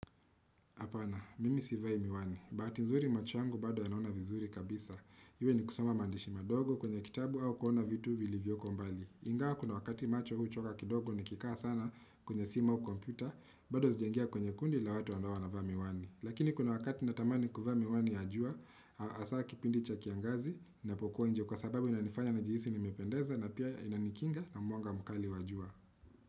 Apana, mimi sivai miwani. Bahati nzuri macho yangu bado yanaona vizuri kabisa. Iwe ni kusoma maandishi madogo kwenye kitabu au kuona vitu vilivyoko mbali. Ingawa kuna wakati macho huchoka kidogo nikikaa sana kwenye simu au kompyuta, bado sijaingia kwenye kundi la watu ambao wanavaa miwani. Lakini kuna wakati natamani kuvaa miwani ya jua, hasaa kipindi cha kiangazi, ninapokuwa nje kwa sababu inanifanya najihisi nimipendeza na pia inanikinga na mwanga mkali wa jua.